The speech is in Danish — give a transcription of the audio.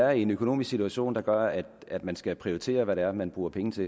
er i en økonomisk situation der gør at at man skal prioritere hvad det er man bruger penge til